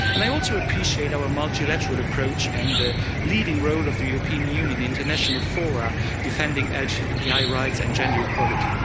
I also appreciate our multilateral approach and the leading role of the European Union international fora defending LGBTI rights and gender equality.